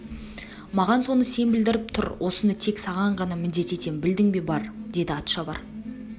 маған соны сен білдіріп тұр осыны тек саған ғана міндет етем білдің бе бар деді атшабар